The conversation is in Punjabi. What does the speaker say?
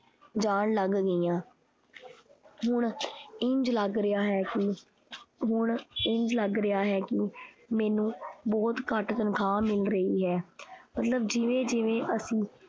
ਜਾਣ ਲੱਗ ਗਈਆਂ। ਹੁਣ ਇੰਝ ਲੱਗ ਰਿਹਾ ਹੈ ਕੀ ਹੁਣ ਇੰਝ ਲੱਗ ਰਿਹਾ ਹੈ ਕੀ ਮੈਨੂੰ ਬਹੁਤ ਘੱਟ ਤਨਖਾਹ ਮਿਲ ਰਹੀ ਹੈ। ਮਤਲਬ ਜਿਵੇਂ-ਜਿਵੇਂ ਅਸੀਂ